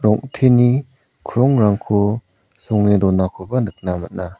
rong·teni krongrangko songe donakoba nikna man·a.